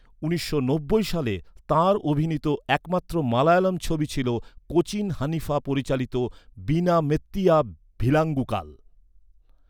উনিশশে নব্বই সালে তাঁর অভিনীত একমাত্র মালয়ালম ছবি ছিল কোচিন হানিফা পরিচালিত বীণা মেত্তিয়া ভিলাঙ্গুকাল।